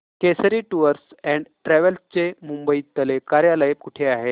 Kesari tours and travels चे मुंबई तले कार्यालय कुठे आहे